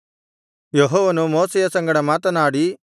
ಯೆಹೋವನು ಮೋಶೆಯ ಸಂಗಡ ಮಾತನಾಡಿ